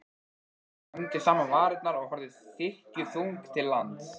Klemmdi saman varirnar og horfði þykkjuþung til lands.